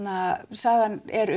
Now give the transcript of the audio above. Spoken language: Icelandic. sagan er